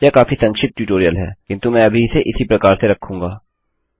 यह काफी संक्षिप्त ट्यूटोरियल है किन्तु मैं अभी इसे इसी प्रकार से रखूँगा